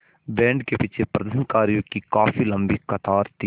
band के पीछे प्रदर्शनकारियों की काफ़ी लम्बी कतार थी